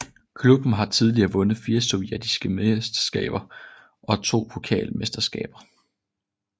Klubben har tidligere vundet fire sovjetiske mesterskaber og to pokalmesterskaber